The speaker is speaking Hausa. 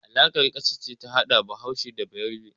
Alaƙar ƙasa ce ta hada Bahaushe da Bayarbe.